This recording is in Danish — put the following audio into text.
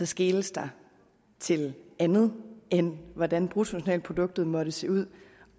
skeles der til andet end hvordan bruttonationalproduktet måtte se ud